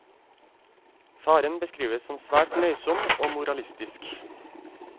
Faren beskrives som svært nøysom og moralistisk.